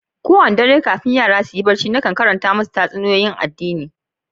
Kowani dare kafin yara na su yi barci nakan karanta masu tatsuniya'n addini.